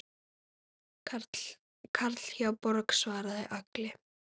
Karl hjá Borg svaraði Agli.